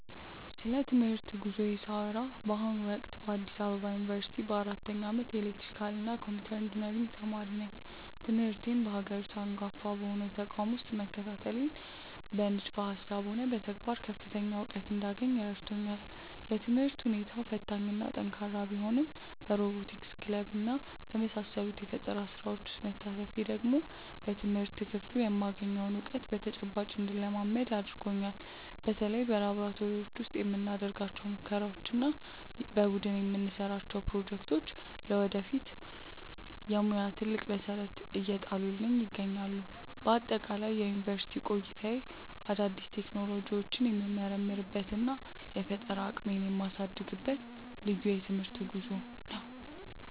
ስለ ትምህርት ጉዞዬ ሳወራ በአሁኑ ወቅት በአዲስ አበባ ዩኒቨርሲቲ በአራተኛ ዓመት የኤሌክትሪካልና ኮምፒውተር ኢንጂነሪንግ ተማሪ ነኝ። ትምህርቴን በሀገሪቱ አንጋፋ በሆነው ተቋም ውስጥ መከታተሌ በንድፈ ሃሳብም ሆነ በተግባር ከፍተኛ እውቀት እንዳገኝ ረድቶኛል። የትምህርት ሁኔታው ፈታኝና ጠንካራ ቢሆንም በሮቦቲክስ ክለብና በመሳሰሉት የፈጠራ ስራዎች ውስጥ መሳተፌ ደግሞ በትምህርት ክፍሉ የማገኘውን እውቀት በተጨባጭ እንድለማመደው አድርጎኛል። በተለይ በላብራቶሪዎች ውስጥ የምናደርጋቸው ሙከራዎችና የቡድን የምንሰራቸው ፕሮጀክቶች ለወደፊት የሙያ ትልቅ መሰረት እየጣሉልኝ ይገኛሉ። በአጠቃላይ የዩኒቨርሲቲ ቆይታዬ አዳዲስ ቴክኖሎጂዎችን የምመረምርበትና የፈጠራ አቅሜን የማሳድግበት ልዩ የትምህርት ጉዞ ነው።